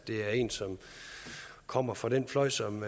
det er en som kommer fra den fløj som